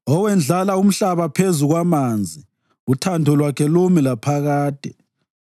Owendlala umhlaba phezu kwamanzi, uthando lwakhe lumi laphakade.